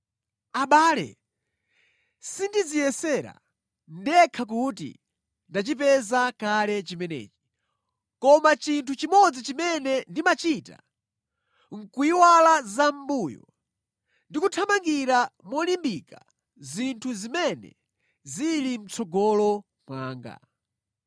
Abale, sindidziyesera ndekha kuti ndachipeza kale chimenechi. Koma chinthu chimodzi chimene ndimachita, nʼkuyiwala zamʼmbuyo ndi kuthamangira molimbika zinthu zimene zili mʼtsogolo mwanga.